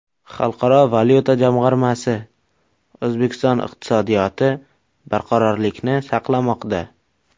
Xalqaro valyuta jamg‘armasi: O‘zbekiston iqtisodiyoti barqarorlikni saqlamoqda.